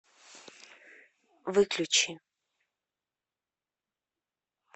выключи